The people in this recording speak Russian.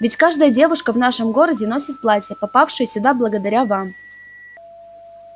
ведь каждая девушка в нашем городе носит платья попавшие сюда благодаря вам